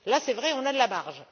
Là, c'est vrai, on a de la marge.